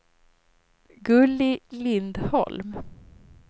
Gulli Lindholm